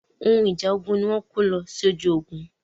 Ohun ìjà ogun ni wọ́n ń kó lọ sójú ogun.